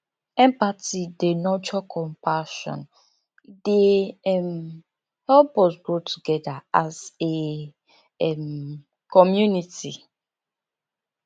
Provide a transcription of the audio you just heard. empathy dey nurture compassion e dey um help us grow together as a um community